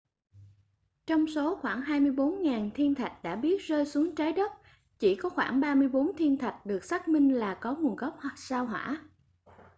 trong số khoảng 24.000 thiên thạch đã biết rơi xuống trái đất chỉ có khoảng 34 thiên thạch được xác minh là có nguồn gốc sao hỏa